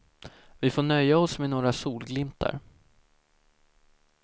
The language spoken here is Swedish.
Vi får nöja oss med några solglimtar.